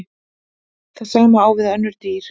Það sama á við um önnur dýr.